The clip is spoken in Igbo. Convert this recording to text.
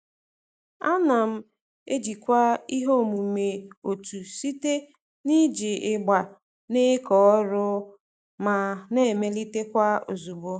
Ana m ejikwa ihe omume otu site n'iji ịgba na-eke ọrụ ma na-emelitekwa ozugbo.